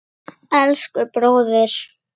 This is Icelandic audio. Elsku bróðir.